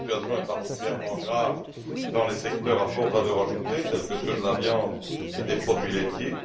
La situation est particulièrement grave dans les secteurs à forte valeur ajoutée, tels que ceux de la viande et des produits laitiers.